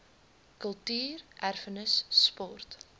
kultuur erfenis sport